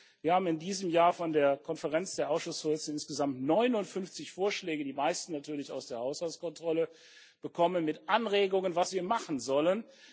Wir haben in diesem Jahr von der Konferenz der Ausschussvorsitze insgesamt 59 Vorschläge, die meisten natürlich aus der Haushaltskontrolle, mit Anregungen bekommen, was wir machen sollen.